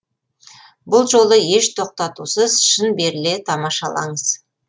бұл жолы еш тоқтатусыз шын беріле тамашалаңыз